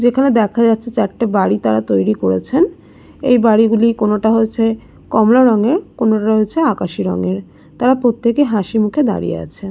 যেখানে দেখা যাচ্ছে চারটে বাড়ি তারা তৈরী করেছেন। এই বাড়ি গুলি কোনটা হয়েছে কমলা রঙের কোনটা হয়েছে আকাশি রঙের। তারা প্রত্যেক এ হাসিমুখে দাঁড়িয়ে আছে।